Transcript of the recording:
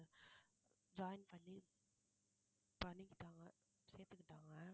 join பண்ணி பண்ணிக்கிட்டாங்க சேர்த்துக்கிட்டாங்க